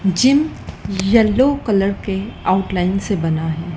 Gym yellow colour के outline से बना है।